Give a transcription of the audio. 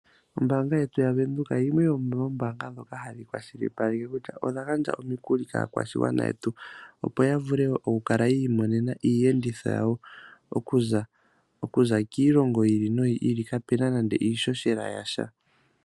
Ombaanga yetu yaVenduka, yimwe yomoombanga dhoka ha dhi kwashilipaleke kutya odha gandja omikuli kaa kwashigwana yetu. Opo ya vule oku kala yiimonena iiyenditho yawo, okuza kiilongi yi ili no yi ili kapuna nando iishoshela yasha.